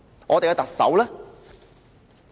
我們的特首呢？